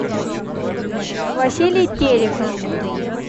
василий терехов